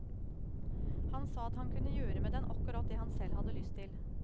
Han sa at han kunne gjøre med den akkurat det han selv hadde lyst til.